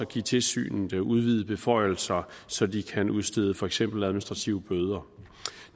give tilsynet udvidede beføjelser så de kan udstede for eksempel administrative bøder